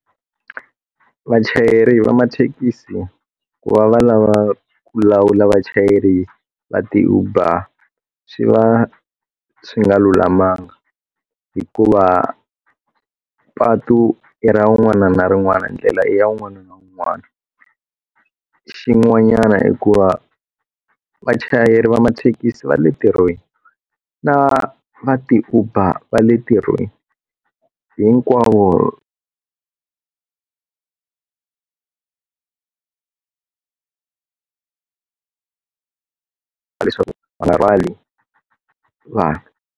Vachayeri va mathekisi ku va va lava ku lawula vachayeri va ti uber swi va swi nga lulamanga hikuva patu i ra un'wana na rin'wana ndlela ya un'wana na un'wana xin'wanyana hikuva vachayeri va mathekisi va le ntirhweni na va ti uber va le ntirhweni hinkwavo va leswaku n'wana rhwala vanhu.